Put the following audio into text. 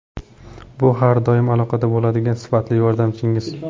Bu har doim aloqada bo‘ladigan sifatli yordamchingiz.